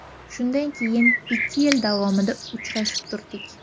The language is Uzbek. Shundan keyin ikki yil davomida uchrashib turdik.